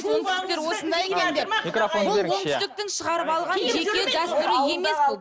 оңтүстіктер осындай екен деп бұл оңтүстіктің шығарып алған жеке дәстүрі емес бұл